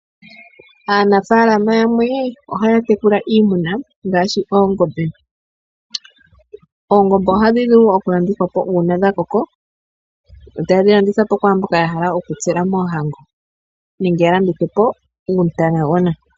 Aanafalama yamwe ohaya tekula iimuna ngaashi oongombe. Oongombe ohadhi vulu okulandithwa po kwaamboka ya hala okutsela moohango nenge ya landithe po uutana.